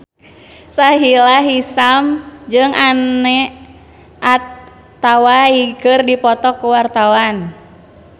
Sahila Hisyam jeung Anne Hathaway keur dipoto ku wartawan